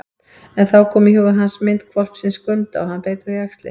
En þá kom í huga hans mynd hvolpsins Skunda og hann beit á jaxlinn.